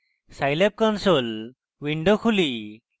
scilab console window খুলি